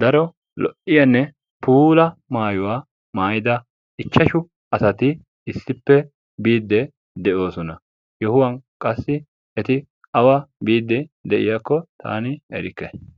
daro lo"iyanne puula maayuwa maayida ichchashu asati issippe biidde de'oosona. Yohuwan qassi eti awa biidde de'iyakko taani erikke.